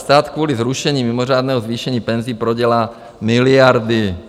Stát kvůli zrušení mimořádného zvýšení penzí prodělá miliardy."